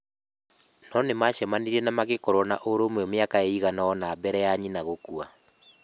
No nĩ maacemanirie na magĩkorũo na ũrũmwe mĩaka ĩigana ũna mbere ya nyina gũkua.